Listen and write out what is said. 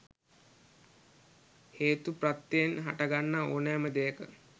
හේතු ප්‍රත්‍යයෙන් හටගන්නා ඕනෑම දෙයක